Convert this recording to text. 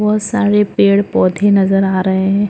बहुत सारे पेड़-पौधे नज़र आ रहे है।